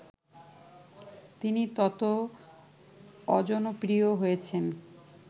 তিনি তত অজনপ্রিয় হয়েছেন